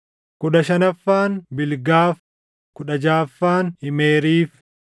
kudhan shanaffaan Bilgaaf, kudha jaʼaffaan Imeeriif,